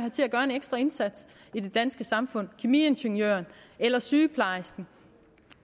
have til at gøre en ekstra indsats i det danske samfund det kemiingeniøren eller sygeplejersken